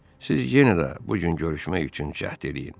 Siz yenə də bu gün görüşmək üçün cəhd eləyin.